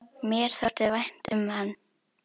Mér þótti vænt um hann.